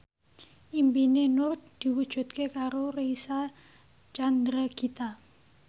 impine Nur diwujudke karo Reysa Chandragitta